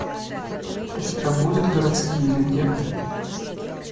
у тебя будет городские легенды